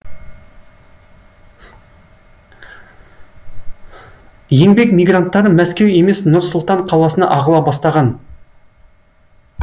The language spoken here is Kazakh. еңбек мигранттары мәскеу емес нұр сұлтан қаласына ағыла бастаған